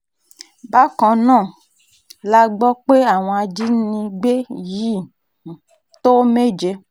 bákan náà um la gbọ́ pé àwọn ajínigbé yìí um tó méje